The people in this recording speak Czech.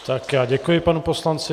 Tak, já děkuji panu poslanci.